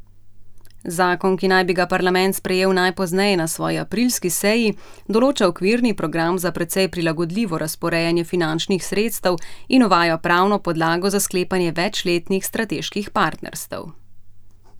Zakon, ki naj bi ga parlament sprejel najpozneje na svoji aprilski seji, določa okvirni program za precej prilagodljivo razporejanje finančnih sredstev in uvaja pravno podlago za sklepanje večletnih strateških partnerstev.